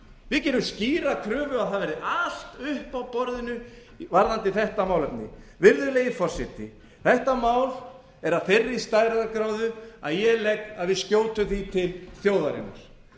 við gerum skýra kröfu að það verði allt uppi á borðinu varðandi þetta málefni virðulegi forseti þetta mál er er af þeirri stærðargráðu að ég legg til að við skjótum því til þjóðarinnar látum þjóðina skera úr